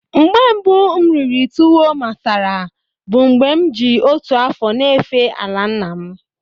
Mgbe mbu m riri tuwo masara bu mgbe m ji otu afo n'efe ala nna m.